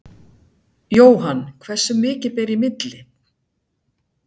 Jóhann: Hversu mikið ber í milli?